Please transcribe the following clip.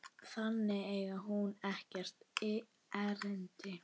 Þangað eigi hún ekkert erindi.